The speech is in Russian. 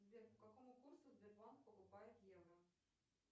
сбер по какому курсу сбербанк покупает евро